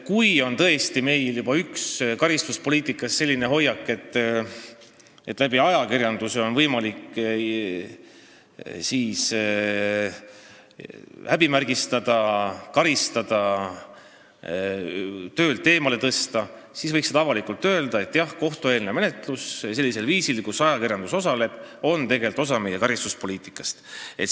Kui tõesti on meil karistuspoliitikas selline hoiak, et ajakirjanduse kaudu on võimalik inimest häbimärgistada, karistada, töölt eemaldada, siis võiks avalikult öelda, et jah, kohtueelne menetlus sellisel viisil, et ajakirjandus selles osaleb, on osa meie karistuspoliitikast.